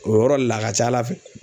O yɔrɔ le la a ka ca Ala fɛ